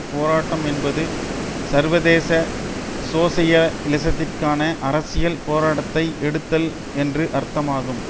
போராட்டம் என்பது சர்வதேச சோசியலிசத்திற்கான அரசியல் போராட்டத்தை எடுத்தல் என்று அர்த்தமாகும்